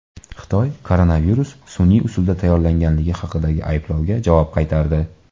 Xitoy koronavirus sun’iy usulda tayyorlanganligi haqidagi ayblovga javob qaytardi.